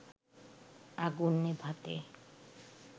আগুন নেভাতে